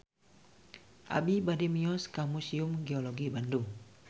Abi bade mios ka Museum Geologi Bandung